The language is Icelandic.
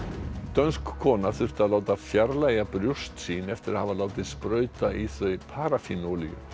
dönsk kona þurfti að láta fjarlægja brjóst sín eftir að hafa látið sprauta í þau paraffín olíu